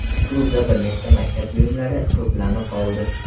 Klubda bir nechta maktab buyumlari to‘plami qoldi.